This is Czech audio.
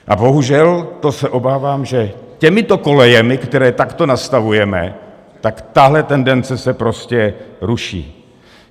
A bohužel, to se obávám, že těmito kolejemi, které takto nastavujeme, tak tahle tendence se prostě ruší.